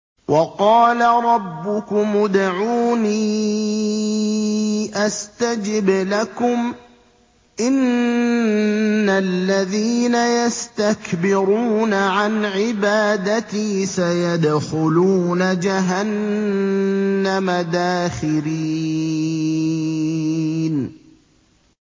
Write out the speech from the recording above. وَقَالَ رَبُّكُمُ ادْعُونِي أَسْتَجِبْ لَكُمْ ۚ إِنَّ الَّذِينَ يَسْتَكْبِرُونَ عَنْ عِبَادَتِي سَيَدْخُلُونَ جَهَنَّمَ دَاخِرِينَ